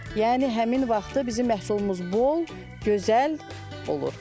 Yəni həmin vaxtı bizim məhsulumuz bol, gözəl olur.